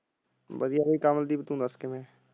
ਵਧੀਆ ਬਾਈ ਕਮਲਦੀਪ ਤੂੰ ਦੱਸ ਕਿਵੇਂ ਆ?